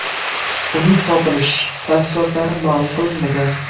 Uning topilish tafsilotlari ma’lum qilinmagan.